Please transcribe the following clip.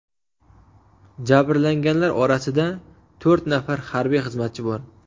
Jabrlanganlar orasida to‘rt nafar harbiy xizmatchi bor.